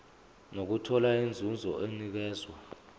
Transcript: nokuthola inzuzo enikezwa